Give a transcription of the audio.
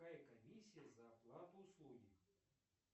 какая комиссия за оплату услуги